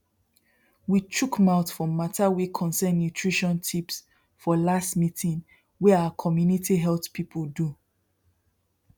we chook mouth for matter wey concern nutrition tips for last meeting wey our community health people do